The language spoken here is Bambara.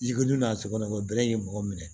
I ko dun n'a sogo kɔnɔ bɛrɛ ye mɔgɔ minɛ